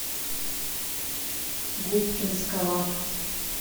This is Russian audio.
губкинского